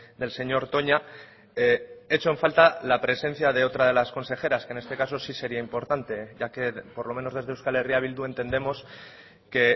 del señor toña echo en falta la presencia de otra de las consejeras que en este caso sí sería importante ya que por lo menos desde euskal herria bildu entendemos que